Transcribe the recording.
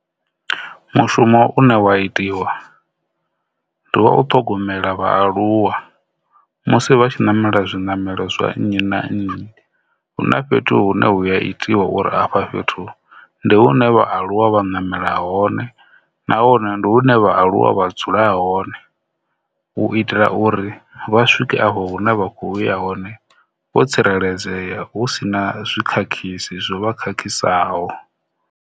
Mushumo u ne wa itiwa ndi u ṱhogomela vhaaluwa musi vha tshi namela zwinamelo zwa nnyi na nnyi hu na fhethu hu ne hu a itiwa uri afha fhethu ndi hune vha aluwa vha namela, na hone ndi hune vhaaluwa vha dzula hone u itela uri vha swike afho hune vha khou ya hone vho tsireledzea hu si na zwikhakhisi zwo vha khakhisaho.